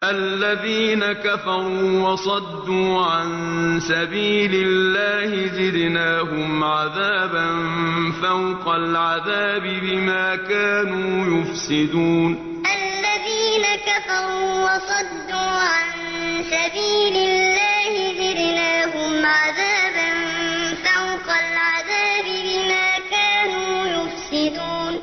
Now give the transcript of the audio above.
الَّذِينَ كَفَرُوا وَصَدُّوا عَن سَبِيلِ اللَّهِ زِدْنَاهُمْ عَذَابًا فَوْقَ الْعَذَابِ بِمَا كَانُوا يُفْسِدُونَ الَّذِينَ كَفَرُوا وَصَدُّوا عَن سَبِيلِ اللَّهِ زِدْنَاهُمْ عَذَابًا فَوْقَ الْعَذَابِ بِمَا كَانُوا يُفْسِدُونَ